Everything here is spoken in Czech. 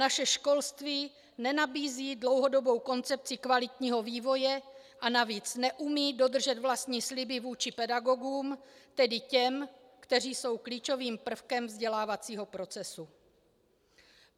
Naše školství nenabízí dlouhodobou koncepci kvalitního vývoje a navíc neumí dodržet vlastní sliby vůči pedagogům, tedy těm, kteří jsou klíčovým prvkem vzdělávacího procesu.